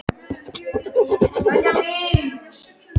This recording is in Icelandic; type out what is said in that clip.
Við urðum að fara heim strax eftir morgunmat.